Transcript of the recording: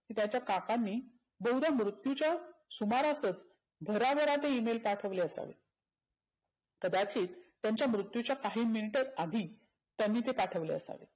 त्याच्या काकांनी तेव्हड मृत्यूच्या सुमारातचं घरा घरात Email पाठवले असावेत. कदाचीत त्यांच्या मृत्युच्या काही मिनीटा आधी त्यांनी ते पाठवले असावेत.